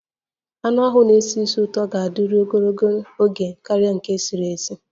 Anụ ahụ a na-esi ísì ụtọ ga-adịru ogologo oge karịa nke esi nri